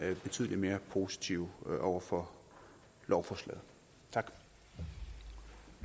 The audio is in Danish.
betydelig mere positive over for lovforslaget tak